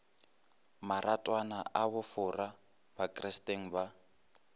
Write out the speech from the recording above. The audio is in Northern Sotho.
maratwana a bofora bakristeng ba